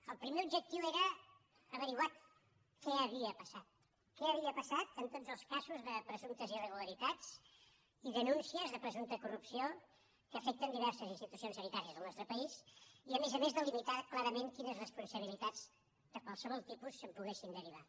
el primer objectiu era esbrinar què havia passat què havia passat en tots els casos de presumptes irregularitats i denúncies de presumpta corrupció que afecten diverses institucions sanitàries del nostre país i a més a més delimitar clarament quines responsabilitats de qualsevol tipus se’n poguessin derivar